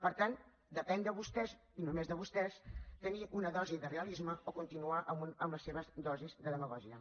per tant depèn de vostès i només de vostès tenir una dosi de realisme o continuar amb les seves dosis de demagògia